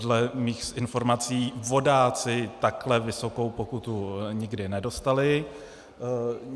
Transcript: Dle mých informací vodáci takhle vysokou pokutu nikdy nedostali.